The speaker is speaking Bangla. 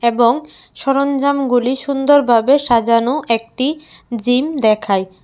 এবং সরঞ্জামগুলি সুন্দরভাবে সাজানো একটি জিম দেখায়।